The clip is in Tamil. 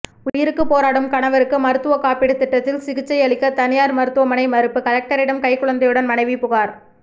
உயிருக்கு போராடும் கணவருக்கு மருத்துவ காப்பீடு திட்டத்தில் சிகிச்சை அளிக்க தனியார் மருத்துவமனை மறுப்பு கலெக்டரிடம் கைக்குழந்தையுடன் மனைவி புகார்